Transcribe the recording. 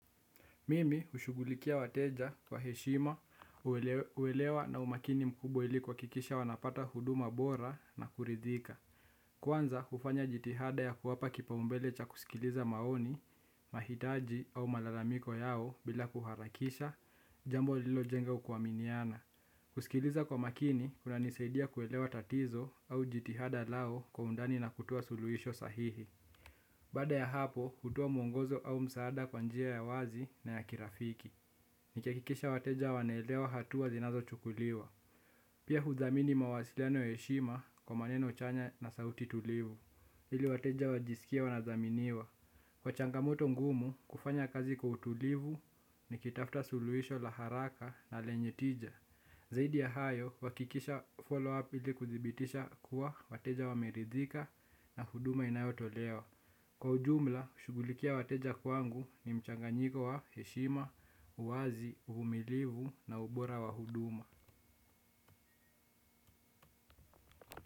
Mimi hushughulikia wateja kwa heshima, uwelewa na umakini mkubwa ilikuhakikisha wanapata huduma bora na kuridhika. Kwanza hufanya jitihada ya kuwapa kipaumbele cha kusikiliza maoni, mahitaji au malalamiko yao bila kuharakisha, jambo lilojenga kuwaminiana. Kusikiliza kwa makini, kunanisaidia kuelewa tatizo au jitihada lao kwa undani na kutoa suluhisho sahihi. Baada ya hapo, hutuoa mwongozo au msaada kwa njia ya wazi na ya kirafiki. Nikihakikisha wateja wanaelewa hatuwa zinazo chukuliwa. Pia hudhamini mawasiliano ya heshima kwa maneno chanya na sauti tulivu. Ili wateja wajisikie wanadhaminiwa. Kwa changamoto ngumu, kufanya kazi kwa utulivu, nikitafuta suluhisho la haraka na lenye tija. Zaidi ya hayo, huwakikisha foloapu ili kudibitisha kuwa wateja wameridhika na huduma inayo tolewa. Kwa ujumla, kushughulikia wateja kwangu ni mchanganyiko wa heshima, uwazi, uvumilivu na ubora wa huduma.